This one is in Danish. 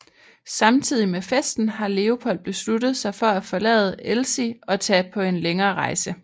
Samtidigt med festen har Leopold besluttet sig for at forlade Elsie og tage på en længere rejse